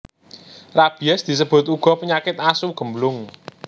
Rabies disebut uga penyakit asu gemblung